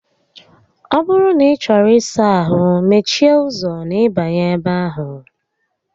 Ọ bụrụ na ị chọrọ ịsa ahụ, mechie ụzọ n'ịbanye ebe ahụ